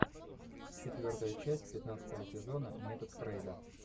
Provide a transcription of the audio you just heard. четвертая часть пятнадцатого сезона метод фрейда